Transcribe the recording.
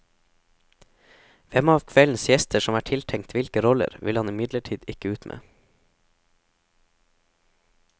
Hvem av kveldens gjester som er tiltenkt hvilke roller, vil han imidlertid ikke ut med.